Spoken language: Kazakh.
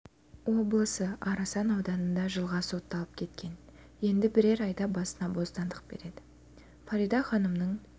облысы арасан ауданында жылға сотталып кеткен енді бірер айда басына бостандық береді екен фарида ханымның